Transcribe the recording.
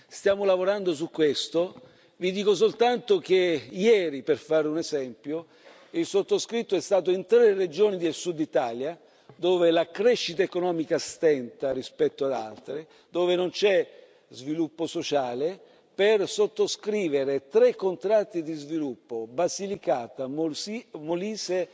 Stiamo lavorando su questo, vi dico soltanto che ieri, per fare un esempio, il sottoscritto è stato in tre regioni del Sud Italia, dove la crescita economica stenta rispetto ad altre, dove non c'è sviluppo sociale, per sottoscrivere tre contratti di sviluppo Basilicata, Molise